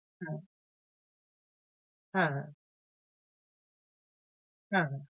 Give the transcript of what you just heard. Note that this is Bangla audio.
হ্যাঁ, হ্যাঁ, হ্যাঁ। হ্যাঁ। হ্যাঁ।